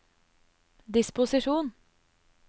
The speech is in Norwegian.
disposisjon